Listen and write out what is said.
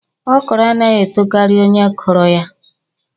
ọkrọ anaghị etokari onye kụrụ ya